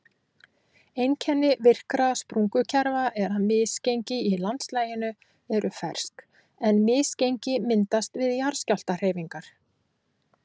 Einkenni virkra sprungukerfa er að misgengi í landslaginu eru fersk en misgengi myndast við jarðskjálftahreyfingar.